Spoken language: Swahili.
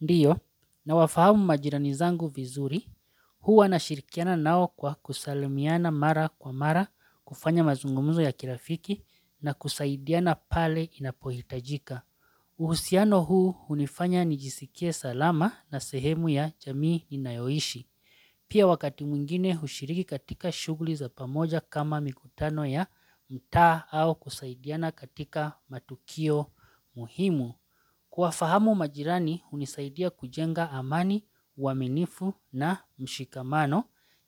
Ndiyo, nawafahamu majirani zangu vizuri, huwa nashirikiana nao kwa kusalimiana mara kwa mara, kufanya mazungumzo ya kirafiki na kusaidiana pale inapohitajika. Uhusiano huu hunifanya nijisikie salama na sehemu ya jamii inayoishi. Pia wakati mwingine hushiriki katika shughuli za pamoja kama mikutano ya mtaa au kusaidiana katika matukio muhimu. Kuwafahamu majirani hunisaidia kujenga amani, uaminifu na mshikamano,